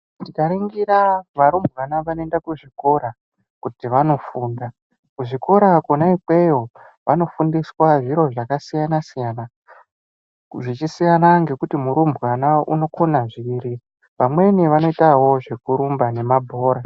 Tikaningira varumbwana vanoenda kuzvikora kuti vanofunda kuzvikora kona ikweyo vanofundiswa zviro zvakasiyana siyana zvichisiyana ngekuti murumbwana unokone zviri vamweni vanoitawo zvekurumba nemabhora.